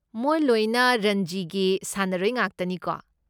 ꯃꯣꯏ ꯂꯣꯏꯅ ꯔꯟꯖꯤꯒꯤ ꯁꯥꯟꯅꯔꯣꯏ ꯉꯥꯛꯇꯅꯤꯀꯣ?